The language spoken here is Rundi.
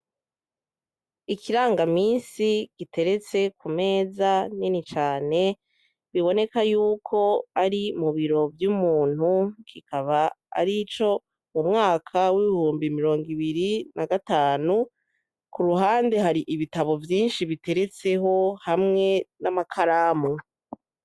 Ikiranga misi giteretse kumeza nini cane, biboneka yuko ari mubiro vy'umuntu ,kikaba arico m'umwaka w'ibihumbi mirongo ibiri na gatanu ,k'uruhande hari ibitabo vyinshi biteretseho hamwe n'amakaramu.